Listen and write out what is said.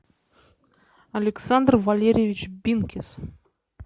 александр валерьевич бинкис